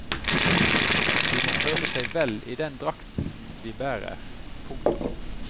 De må føle seg vel i den drakten de bærer. punktum